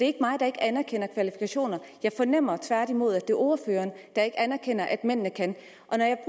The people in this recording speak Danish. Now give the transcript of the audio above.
ikke mig der ikke anerkender kvalifikationer jeg fornemmer tværtimod at det er ordføreren der ikke anerkender at mændene kan